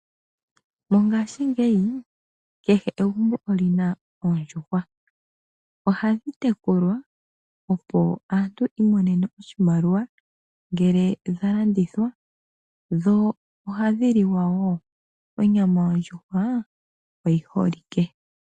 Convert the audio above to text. Mongashingeyi kehe egumbo olyi na Oondjuhwa. Ohadhi tekulwa opo aantu yi imonene oshimaliwa ngele dha landithwa, dho ohadhi liwa woo. Onyama yondjuhwa oyi holike.